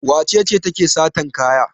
Wace ce take satan kaya?